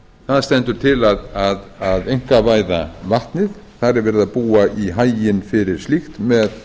það stendur til að einkavæða vatnið það er verið að búa í haginn fyrir slíkt með